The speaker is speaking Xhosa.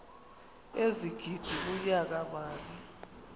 ezigidi kunyaka mali